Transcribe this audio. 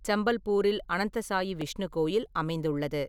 சம்பல்பூரில் அனந்தசாயி விஷ்ணு கோயில் அமைந்துள்ளது.